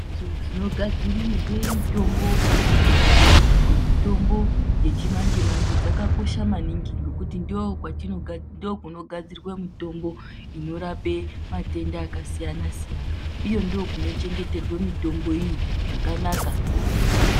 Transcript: Mhatso dzinogadzirirwa mitombo kana kuchengeterwa mitombo yechimanji manji dzakakosha maningi ngokuti ndokunogadzirwa mitombo inorape matenda akasiyana-siyana uye ndokunochengeterwe mitombo iyi zvakanaka.